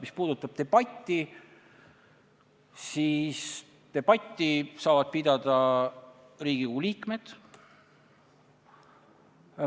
Mis puudutab debatti, siis debatti saavad pidada Riigikogu liikmed.